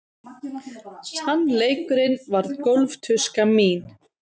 Sannleikurinn varð gólftuska mín.